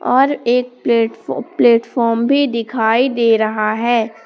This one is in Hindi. और एक प्लेटफा प्लेटफार्म भी दिखाई दे रहा है।